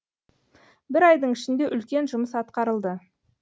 бір айдың ішінде үлкен жұмыс атқарылды